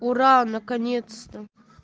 ура наконец-то